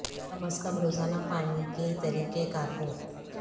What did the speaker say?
کم از کم روزانہ پانی کے طریقہ کار کو کیا جا سکتا ہے